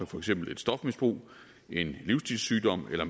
for eksempel et stofmisbrug en livsstilssygdom eller